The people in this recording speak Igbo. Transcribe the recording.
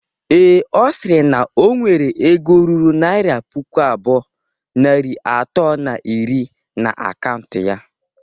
Ee, Ọ sịrị na o nwere ego ruru naira puku abụọ, narị atọ na iri na akaụntụ ya.